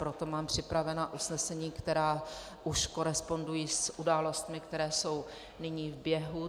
Proto mám připravena usnesení, která už korespondují s událostmi, které jsou nyní v běhu.